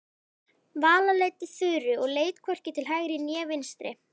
Vala leiddi Þuru og leit hvorki til hægri né vinstri.